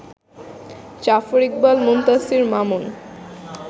Zafar Iqbal, Muntasir Mamun